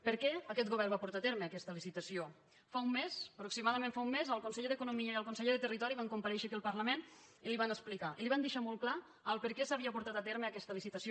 per què aquest govern va portar a terme aquesta licitació fa un mes aproximadament fa un mes el conseller d’economia i el conseller de territori van comparèixer aquí al parlament i li ho van explicar i li van deixar molt clar per què s’havia portat a terme aquesta licitació